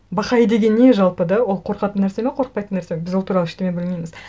бахаи деген не жалпы да ол қорқатын нәрсе ме қорықпайтын нәрсе ме біз ол туралы ештеңе білмейміз